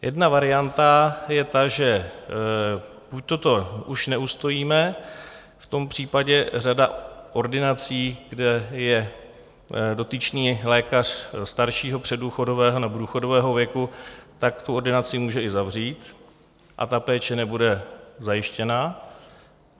Jedna varianta je ta, že buďto to už neustojíme, v tom případě řada ordinací, kde je dotyčný lékař staršího, předdůchodového nebo důchodového věku, tak tu ordinaci může i zavřít a ta péče nebude zajištěna.